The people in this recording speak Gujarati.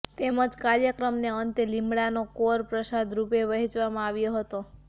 તેમજ કાર્યક્રમ ને અંતે લીમડાનો કોર પ્રસાદ રૂપે વહેંચવામાં આવ્યો હતો